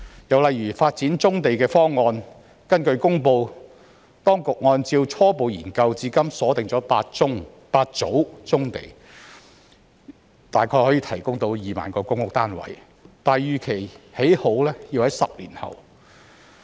又例如發展棕地的方案，根據公布，當局按照初步研究至今鎖定8組棕地，大約可提供2萬個公屋單位，但預期建成要在10年後。